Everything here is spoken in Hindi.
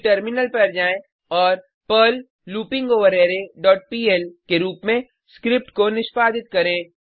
फिर टर्मिलन पर जाएँ और पर्ल लूपिंगवररे डॉट पीएल के रुप में स्क्रिप्ट को निष्पादित करें